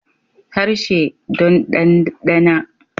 Harshe don danɗana